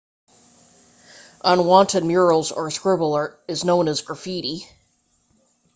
unwanted murals or scribble is known as graffiti